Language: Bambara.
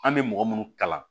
An bɛ mɔgɔ minnu kalan